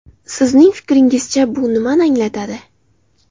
Sizning fikringizcha, bu nimani anglatadi?